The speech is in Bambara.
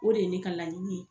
O de ye ne ka laɲini ye.